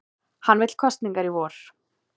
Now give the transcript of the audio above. Hann vill kosningar í vor